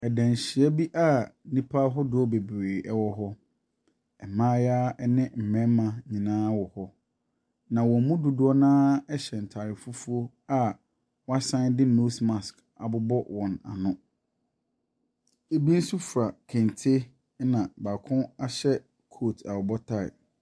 Danhyia bi a nnipa wɔahodoɔ bebree ɛwɔ hɔ. Mma ne mmarima nyinaa wɔ hɔ, na wɔn mu fodoɔ no ara hyɛ ntaade fufuo a wɔasan de nose mask abobɔ wɔn ano. Ɛbi nso fura kente na baako ahyɛ kootu a ɔbɔ taae.